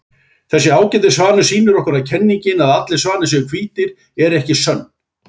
Þessi ágæti svanur sýnir okkur að kenningin að allir svanir séu hvítir er ekki sönn.